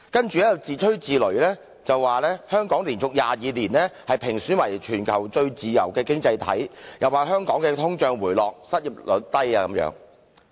接下來更自吹自擂地說，香港連續22年被評選為全球最自由的經濟體；更說香港的通脹持續回落，失業率極低等。